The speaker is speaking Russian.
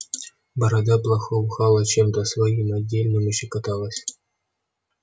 борода благоухала чем-то своим отдельным и щекоталась